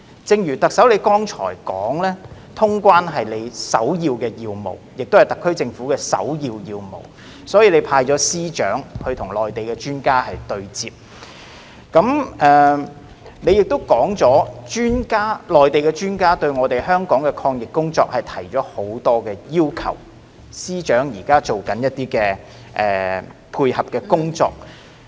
正如特首你剛才說，通關是你首要的要務，亦是特區政府首要的要務，所以你已派司長與內地專家對接；你亦說內地專家對香港的抗疫工作提出了不少要求，司長現在進行一些配合工作。